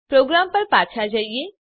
programme પર પાછા જઈએ